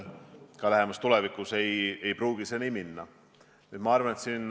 Ma loodan ja soovin jõudu, et see komisjon edaspidi selgeid sõnumeid annab.